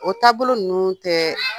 O taabolo ninnu tɛ,